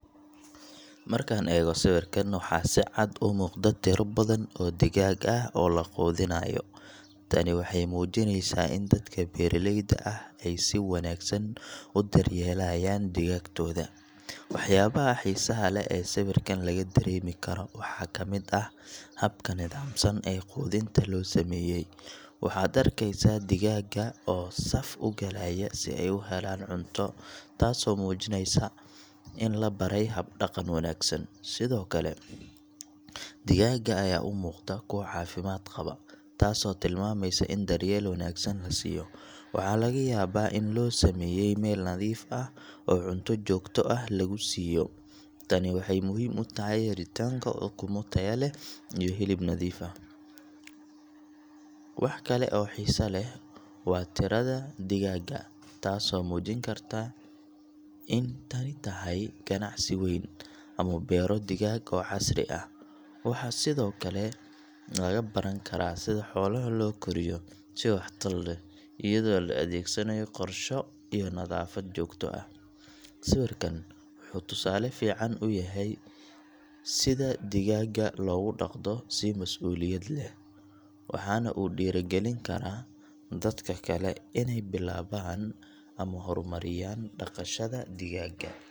Markaan eego sawirkan, waxaa si cad u muuqda tiro badan oo digaag ah oo la quudinayo. Tani waxay muujinaysaa in dadka beeraleyda ahi ay si wanaagsan u daryeelayaan digaagtooda. Waxyaabaha xiisaha leh ee sawirkan laga dareemi karo waxaa ka mid ah habka nidaamsan ee quudinta loo sameeyay – waxaad arkaysaa digaagga oo saf u galaya si ay u helaan cunto, taasoo muujinaysa in la baray hab-dhaqan wanaagsan. Sidoo kale, digaagga ayaa u muuqda kuwo caafimaad qaba, taasoo tilmaamaysa in daryeel wanaagsan la siiyo – waxaa laga yaabaa in loo sameeyay meel nadiif ah oo cunto joogto ah lagu siiyo. Tani waxay muhiim u tahay helitaanka ukumo tayo leh iyo hilib nadiif ah. Wax kale oo xiiso leh waa tirada digaagga, taasoo muujin karta in tani tahay ganacsi weyn ama beero digaag oo casri ah. Waxaa sidoo kale laga baran karaa sida xoolaha loo koriyo si waxtar leh, iyadoo la adeegsanayo qorsho iyo nadaafad joogto ah. Sawirkan wuxuu tusaale fiican u yahay sida digaagga loogu dhaqdo si mas'uuliyad leh, waxaana uu dhiirrigelin karaa dadka kale inay bilaabaan ama horumariyaan dhaqashada digaagga.